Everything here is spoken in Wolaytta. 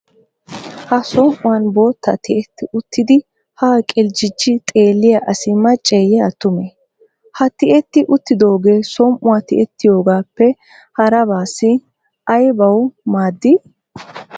Ha som"uwan bootta tiyetti uttidi haa qirjjijjidi xeelliya asi macceeyye attumee? Ha tiyetti uttoogee som"uwa tiyettiyogaappe harabaassi aybawu maaddii ?